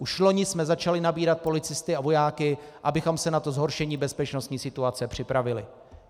Už loni jsme začali nabírat policisty a vojáky, abychom se na to zhoršení bezpečnostní situace připravili.